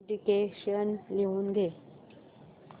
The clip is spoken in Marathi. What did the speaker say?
डिक्टेशन लिहून घे